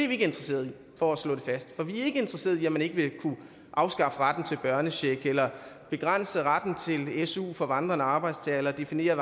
vi ikke interesserede i for at slå det fast for vi er ikke interesserede i at man ikke vil kunne afskaffe retten til børnecheck eller begrænse retten til su for vandrende arbejdstagere eller definere